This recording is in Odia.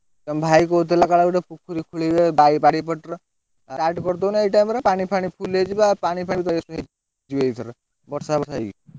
ତମ ଭାଇ କହୁଥିଲା କଣ ଗୋଟେ ପୋଖରୀ ଖୋଳିବେ ବାରିପଟର। start କରିଦଉନ ଏଇ time ରେ ପାଣି ଫାଣି full ହେଇଯିବା ପି ଏଇଥର